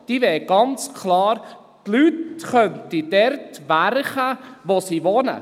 Die Leute könnten dort arbeiten, wo sie wohnen.